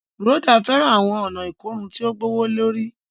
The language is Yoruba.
Rhoda fẹràn awọn ọna ikorun ti o gbowolori